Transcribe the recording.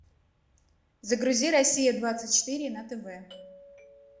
загрузи россия двадцать четыре на тв